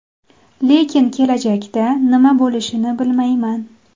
Lekin kelajakda nima bo‘lishini bilmayman.